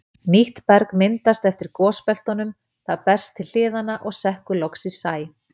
Nýtt berg myndast eftir gosbeltunum, það berst til hliðanna og sekkur loks í sæ.